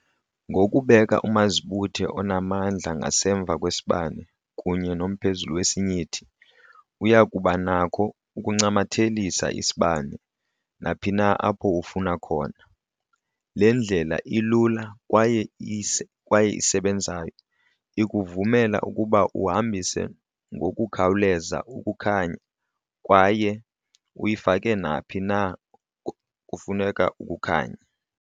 Ngokubeka umazibuthe onamandla ngasemva kwesibane kunye nomphezulu wesinyithi, uya kuba nakho ukuncamathelisa isibane naphina apho ufuna khona. Le ndlela ilula kwaye isebenzayo ikuvumela ukuba uhambise ngokukhawuleza ukukhanya kwaye uyifake naphi na apho kufuneka ukukhanya.